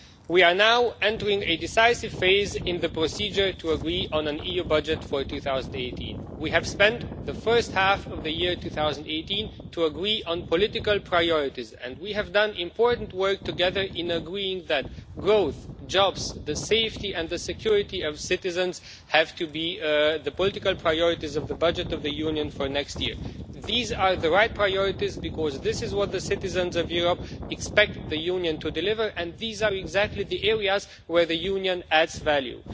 We are now entering a decisive phase in the procedure to agree on an EU budget for 2018. We have spent the first half of the year agreeing on political priorities, and we have done important work together in agreeing that growth, jobs and the safety and the security of citizens have to be the political priorities of the budget of the Union for next year. These are the right priorities because this is what the citizens of Europe expect the Union to deliver and these are exactly the areas where the Union adds value.